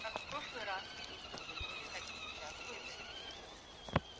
как в прошлый раз милицию вызвали так и сейчас вызовем